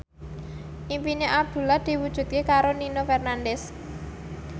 impine Abdullah diwujudke karo Nino Fernandez